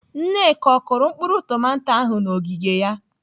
Nneka, ọ kụrụ mkpụrụ tomato ahụ n'ogige ya?